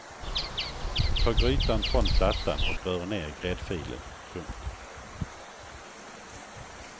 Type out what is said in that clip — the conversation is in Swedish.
Ta grytan från plattan och rör ner gräddfilen. punkt